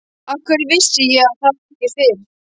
Af hverju vissi ég það ekki fyrr?